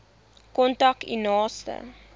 kontak u naaste